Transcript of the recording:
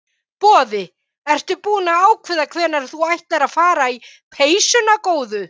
Boði: Ertu búin að ákveða hvenær þú ætlar að fara í peysuna góðu?